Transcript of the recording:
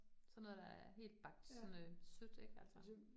Sådan noget, der er helt bagt sådan øh sødt ik altså